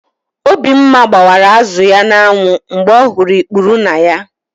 Obimma gbara azụ ya n'anwụ mgbe ọ hụrụ ikpuru na ya.